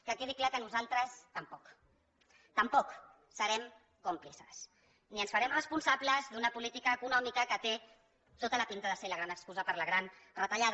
que quedi clar que nosaltres tampoc tampoc serem còmplices ni ens farem responsables d’una política econòmica que té tota la pinta de ser la gran excusa per a la gran retallada